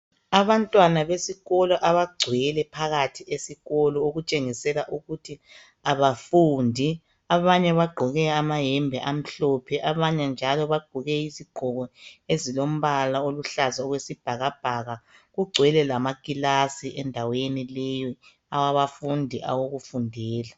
Abantwana besikolo abagcwele phakathi esikolo okutshengisela ukuthi abafundi, abanye bagqoke amayembe amhlophe abanye njalo bagqoke izigqoko ezilombala oluhlaza okwesibhakabhaka, kugcwele lamakilasi endaweni leyo awabafundi awokufundela.